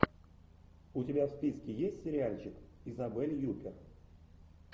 у тебя в списке есть сериальчик изабель юппер